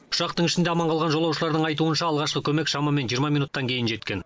ұшақтың ішінде аман қалған жолаушылардың айтуынша алғашқы көмек шамамен жиырма минуттан кейін жеткен